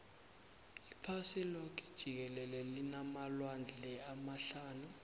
iphasi loke jikelele linamalwandle amahlanu